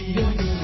M